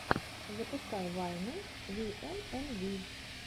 запускай вайны виэнэнви